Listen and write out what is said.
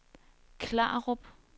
Klarup